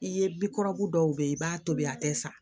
I ye bikɔrɔbu dɔw bɛ yen i b'a tobi a tɛ sa